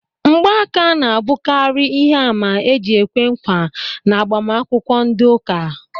Ngba aka ná abukari ihe àmà eji ekwe nkwa n'agbamakwukwo ndị ụka